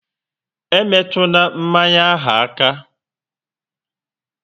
E metuna mmanya ahụ aka!